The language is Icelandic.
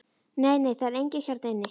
Nei, nei, það er enginn hérna inni.